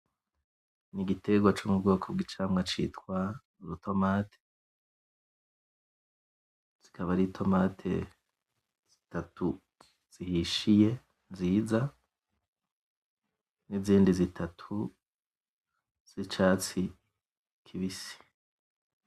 Nigiterwa co mubwoko bwicamwa citwa urutomati zikaba ari tomati zitatu zihishiye nziza nizindi zitatu zicatsi kibisi